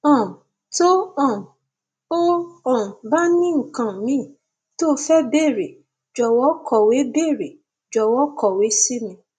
um tó um o um bá ní nǹkan míì tó o fẹ béèrè jọwọ kọwé béèrè jọwọ kọwé sí mi